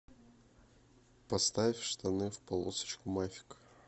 поставь штаны в полосочку мафик